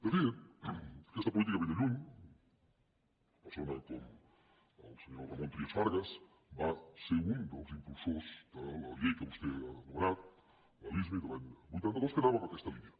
de fet aquesta política ve de lluny una persona com el senyor ramon trias i fargas va ser un dels impulsors de la llei que vostè ha anomenat la lismi de l’any vuitanta dos que anava en aquesta línia